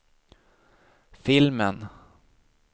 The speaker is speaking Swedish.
filmen